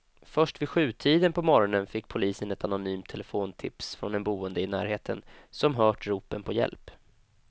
Först vid sjutiden på morgonen fick polisen ett anonymt telefontips från en boende i närheten som hört ropen på hjälp.